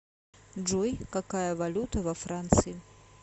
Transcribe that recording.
джой какая валюта во франции